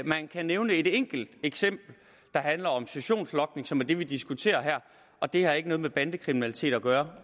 man kan nævne et enkelt eksempel der handler om sessionslogning som er det vi diskuterer her og det har ikke noget med bandekriminalitet at gøre